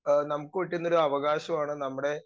speaker 2 നമുക്ക് കിട്ടുന്ന ഒരു അവകാശമാണ് നമ്മടെ